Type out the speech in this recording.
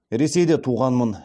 ресейде туғанмын